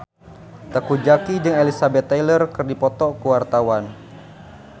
Teuku Zacky jeung Elizabeth Taylor keur dipoto ku wartawan